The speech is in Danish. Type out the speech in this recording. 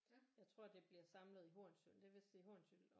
Jeg tror det bliver samlet i Hornsyld det vil sige Hornsyld